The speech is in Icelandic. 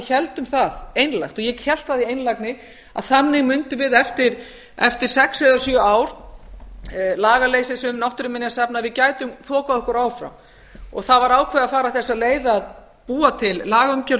héldum það einlægt og ég hélt það í einlægni að þannig mundum við eftir sex eða sjö ár lagaleysis um náttúruminjasafn að við gætum þokað okkur áfram það var ákveðið að fara þessa leið að búa til lagaumgjörð um náttúruminjasafn